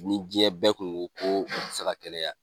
Ni diɲɛ bɛɛ tun ko ko u tɛ se ka kɛnɛya